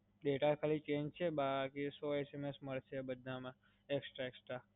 data ખાલી change છે બાકી સો SMS મલસે બધામાં extra extra.